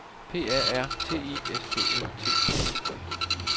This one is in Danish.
P A R T I S T Ø T T E